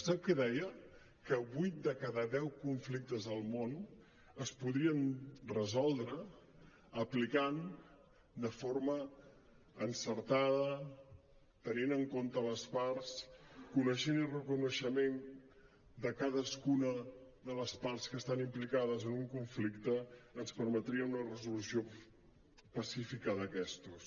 sap què deia que vuit de cada deu conflictes al món es podien resoldre aplicant de forma encertada tenint en compte les parts coneixent i amb reconeixement de cadascuna de les parts que estan implicades en un conflicte ens permetria una resolució pacífica d’aquestos